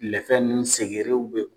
Lɛfɛ nunnu segerew be